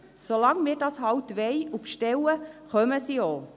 So lange wir das eben wollen und bestellen, kommen sie auch.